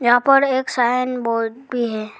यहां पर एक साइन बोर्ड भी है।